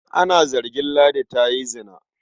Ana zargin Ladi da yin zina.